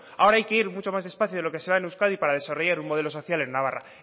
ahora hay que ir mucho más despacio de lo que se va en euskadi para desarrollar un modelo social en navarra